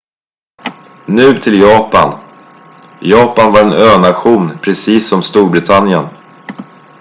nu till japan japan var en önation precis som storbritannien